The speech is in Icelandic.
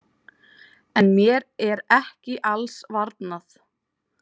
En mér er ekki alls varnað.